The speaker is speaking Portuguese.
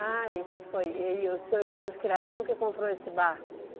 Ah, isso foi... E o seu irmão de criação que comprou esse barco?